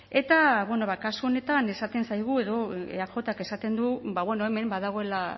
eta kasu honetan esaten zaigu edo eajk esaten du ba bueno hemen badagoela